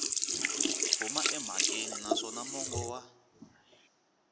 huma emhakeni naswona mongo wa